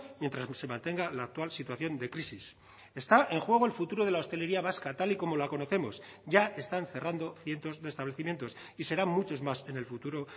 mientras se mantenga la actual situación de crisis está en juego el futuro de la hostelería vasca tal y como la conocemos ya están cerrando cientos de establecimientos y serán muchos más en el futuro